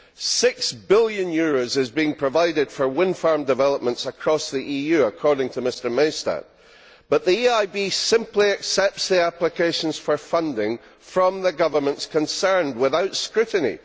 EUR 6 billion has been provided for wind farm developments across the EU, according to Mr Maystadt, but the EIB simply accepts the applications for funding from the governments concerned without scrutiny.